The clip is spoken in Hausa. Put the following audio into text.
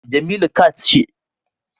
Jemilu cat na haihuwa sau uku zuwa hudu a shekara